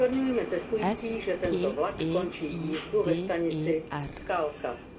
S P E I D E R